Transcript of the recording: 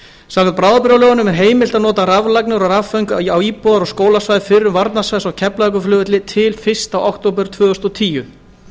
samkvæmt bráðabirgðalögunum er heimilt að nota raflagnir og rafföng á íbúðar og skólasvæði fyrrum varnarsvæðis á keflavíkurflugvelli til fyrsta október tvö þúsund og tíu